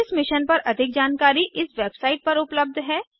इस मिशन पर अधिक जानकारी इस वेबसाइट पर उपलब्ध है